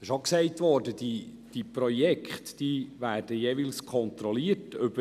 Es wurde auch gesagt, dass die Projekte kontrolliert werden.